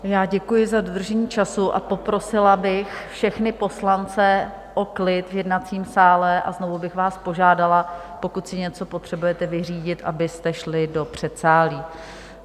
Já děkuji za dodržení času a poprosila bych všechny poslance o klid v jednacím sále a znovu bych vás požádala, pokud si něco potřebujete vyřídit, abyste šli do předsálí.